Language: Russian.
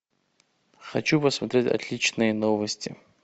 хочу посмотреть отличные новости